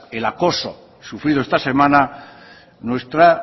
el acoso sufrido esta semana nuestra